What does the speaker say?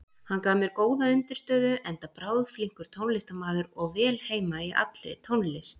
Hann gaf mér góða undirstöðu, enda bráðflinkur tónlistarmaður og vel heima í allri tónlist.